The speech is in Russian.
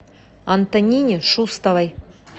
антонине шустовой